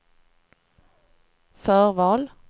förval